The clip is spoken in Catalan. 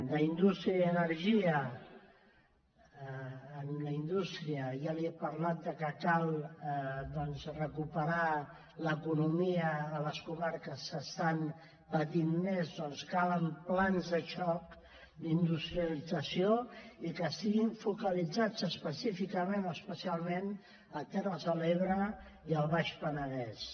d’indústria i energia en indústria ja li he parlat de que cal doncs recuperar l’economia a les comarques que estan patint més doncs calen plans de xoc d’industrialització i que estiguin focalitzats específicament o especialment a terres de l’ebre i al baix penedès